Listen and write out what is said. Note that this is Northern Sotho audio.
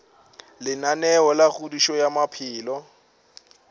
lenaneo la kgodišo ya maphelo